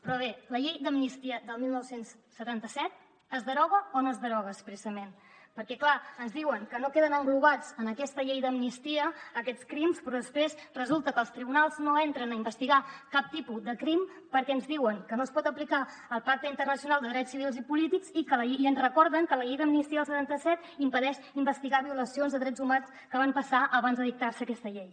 però bé la llei d’amnistia del dinou setanta set es deroga o no es deroga expressament perquè clar ens diuen que no queden englobats en aquesta llei d’amnistia aquests crims però després resulta que els tribunals no entren a investigar cap tipus de crim perquè ens diuen que no es pot aplicar el pacte internacional de drets civils i polítics i ens recorden que la llei d’amnistia del setanta set impedeix investigar violacions de drets humans que van passar abans de dictar se aquesta llei